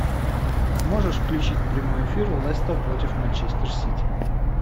можешь включить прямой эфир лестер против манчестер сити